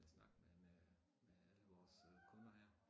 Snakke med med med alle vores kunder her